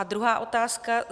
A druhá otázka.